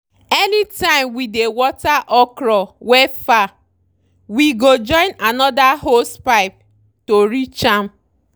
anytime we dey water okra wey far we go join another hosepipe to reach am.